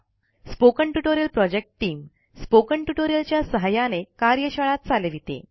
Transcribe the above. spoken tutorial project team spoken ट्युटोरियल च्या सहाय्याने कार्यशाळा चालविते